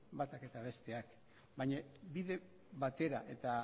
batak eta besteak baina bide batera eta